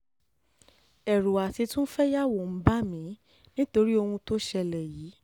ẹ̀rù àti tún fẹ́yàwó ń bà mí nítorí ohun ohun tó ṣẹlẹ̀ yìí